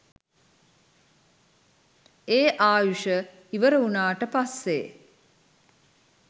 ඒ ආයුෂ ඉවර වුණාට පස්සේ